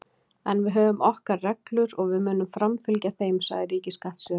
En við höfum okkar reglur og við munum framfylgja þeim, sagði ríkisskattstjóri